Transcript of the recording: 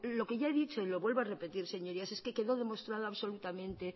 lo he dicho y lo vuelvo a repetir señorías es quedó demostrado absolutamente